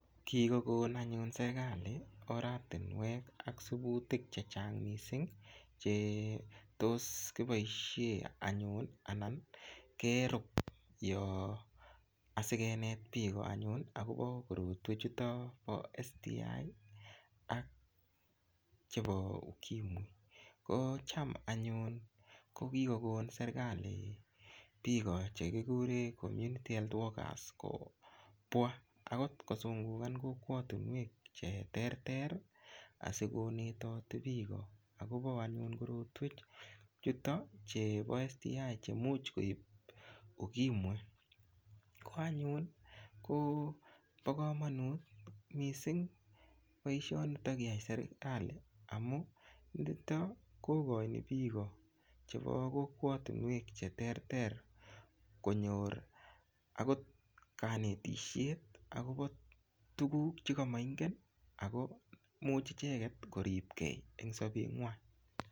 Kikokon anyun serikalit oratinwek ak siputik chechang mising chetos kiboishe anyun ana kerup asikenet piko anyun akopo korotwek chuto po STI ak chepo ukimwi ko cham anyun kokikokon serikali piko chekikure community health workers kopwa akotkosungukan kokwotunwek cheterter asikonetoti piko akopo anyun korotwek chuto chebo STI chemuch koip ukimwi koanyun kobokomonut mising poishonito kiyai serikali amu nito kokoini piko chepo kokwotunwek cheterter konyor akot kanetishet akopo tukuuk chekamaingen ako much icheget koripkei eng sopet ng'wan